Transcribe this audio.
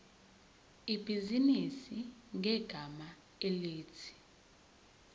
ibhizinisi ngegama elithi